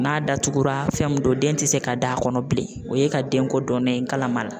N'a datugura fɛn min don den ti se ka da kɔnɔ bilen, o ye ka denko dɔn ne ye kala ma la.